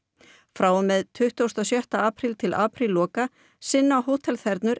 frá og með tuttugasta og sjötta apríl til aprílloka sinna